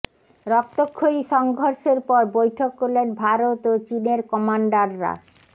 রক্তক্ষয়ী সংঘর্ষের পর বৈঠক করলেন ভারত ও চীনের কমান্ডাররা